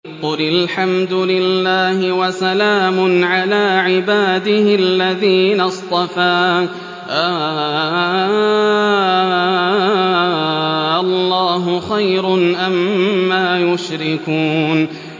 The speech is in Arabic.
قُلِ الْحَمْدُ لِلَّهِ وَسَلَامٌ عَلَىٰ عِبَادِهِ الَّذِينَ اصْطَفَىٰ ۗ آللَّهُ خَيْرٌ أَمَّا يُشْرِكُونَ